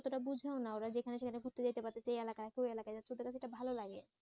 ততটা বুঝেও না ওরা যেখানে সেখানে ঘুরতে যাইতে পারতেছে এই এলাকায় ওই এলাকায় ওদের কাছে এটা ভাল লাগে।